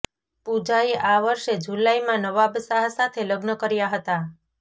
પૂજાએ આ વર્ષે જુલાઈમાં નવાબ શાહ સાથે લગ્ન કર્યાં હતાં